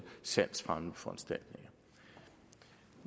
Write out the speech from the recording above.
salgsfremmende foranstaltninger